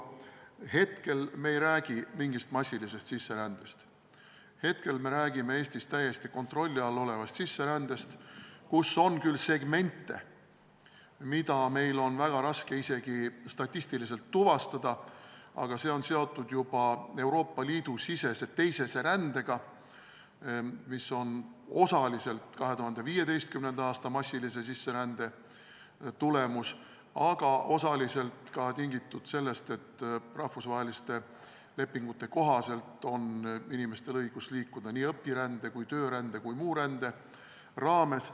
Praegu me ei räägi mingist massilisest sisserändest, me räägime Eestis täiesti kontrolli all olevast sisserändest, kus on küll segmente, mida meil on väga raske isegi statistiliselt tuvastada, aga see on seotud juba Euroopa Liidu sisese teisese rändega, mis on osaliselt 2015. aasta massilise sisserände tagajärg, osaliselt aga tingitud sellest, et rahvusvaheliste lepingute kohaselt on inimestel õigus liikuda nii õpirände, töörände kui ka muu rände raames.